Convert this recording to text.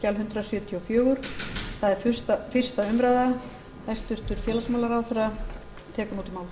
hæstvirtur forseti ég mæli fyrir frumvarpi til laga um breytingu á lögum númer fimmtíu og